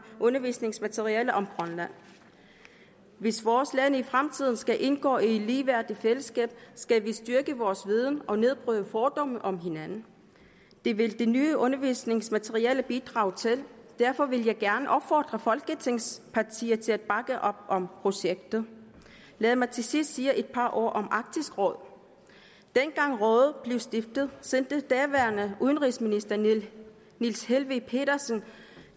undervisningsmaterialer om grønland hvis vores lande i fremtiden skal indgå i et ligeværdigt fællesskab skal vi styrke vores viden og nedbryde fordomme om hinanden det vil de nye undervisningsmaterialer bidrage til derfor vil jeg gerne opfordre folketingets partier til at bakke op om projektet lad mig til sidst sige et par ord om arktisk råd dengang rådet blev stiftet sendte daværende udenrigsminister niels helveg petersen